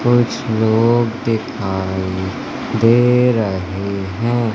कुछ लोग दिखाई दे रहे है।